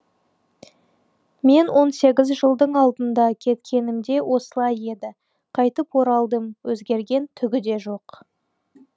мен он сегіз жылдың алдында кеткенімде осылай еді қайтып оралдым өзгерген түгі де жоқ